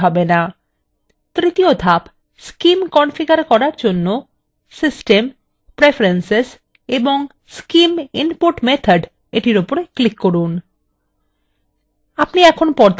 তৃতীয় ধাপ scim configure করার জন্য system preferences এবং scim input method –এটির উপর click করুন